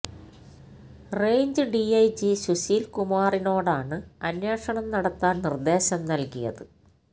range DIG Sushil കുമാറിനോടാണ് അന്വേഷണം നടത്താൻ നിർദേശം നൽകിയത്